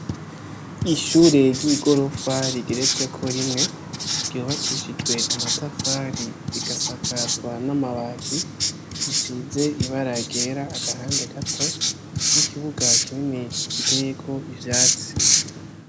Ishure ry'igotrofa rugeretsweko rimwe ryubakishijwe amatafari rigasakazwa n'amabati, risize ibara ryera agahande gato n'ikibuga kinini giteyeko ivyatsi.